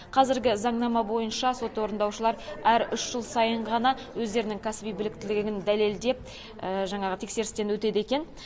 қазіргі заңнама бойынша сот орындаушылары әр үш жыл сайын ғана өздерінің кәсіби біліктілігін дәлелдеп жаңағы тексерістен өтеді екен